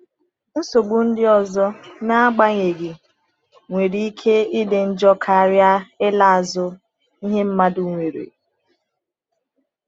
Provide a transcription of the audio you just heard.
Nsogbu ndị ọzọ, n’agbanyeghị, nwere ike ịdị njọ karịa ịla azụ ihe mmadụ nwere.